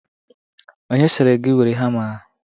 Onye siri gị were hama ahụ?